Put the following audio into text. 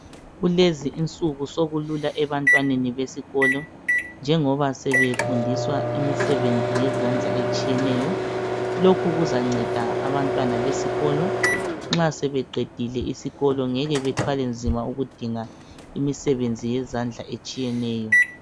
Kulezi insuku sokulula ebantwaneni besikolo njengoba sebefundiswa imisebenzi yezandla etshiyeneyo. Lokhu kuzanceda abantwana besikolo nxa sebeqedile isikolo ngeke bethwale nzima ukudinga imisebenzi yezandla etshiyeneyo.